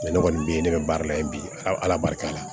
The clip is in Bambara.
ne kɔni be yen ne bɛ baara la ye bi ala barika la